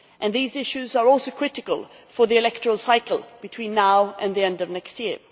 These issues are also critical for the electoral cycle between now and the end of next year.